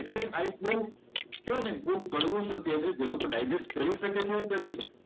એટલે આ એક વહુ કહેવાય ને બહુ કડવું સત્ય છે જે લોકો ડાયજેસ્ટ કરી શકે તે જ કરી શકે.